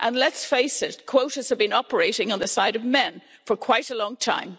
Let's face it, quotas have been operating on the side of men for quite a long time.